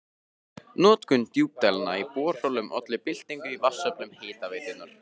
Notkun djúpdælna í borholum olli byltingu í vatnsöflun Hitaveitunnar.